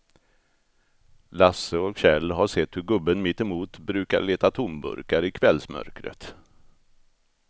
Lasse och Kjell har sett hur gubben mittemot brukar leta tomburkar i kvällsmörkret.